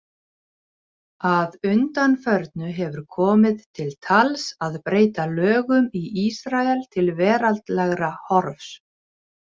Að undanförnu hefur komið til tals að breyta lögum í Ísrael til veraldlegra horfs.